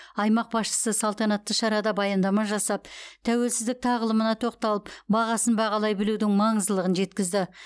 аймақ басшысы салтанатты шарада баяндама жасап тәуелсіздік тағылымына тоқталып бағасын бағалай білудің маңыздылығын жеткізді